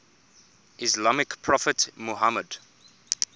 islamic prophet muhammad